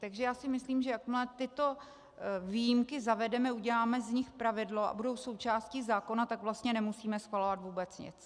Takže já si myslím, že jakmile tyto výjimky zavedeme, uděláme z nich pravidlo a budou součástí zákona, tak vlastně nemusíme schvalovat vůbec nic.